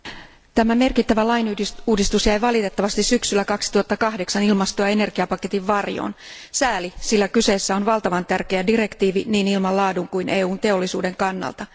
Arvoisa puhemies, tämä merkittävä lainuudistus jäi valitettavasti syksyllä 2008 ilmasto ja energiapaketin varjoon. Sääli, sillä kyseessä on valtavan tärkeä direktiivi niin ilman laadun kuin EUn teollisuuden kannalta.